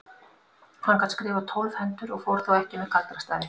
Hann gat skrifað tólf hendur og fór þó ekki með galdrastafi.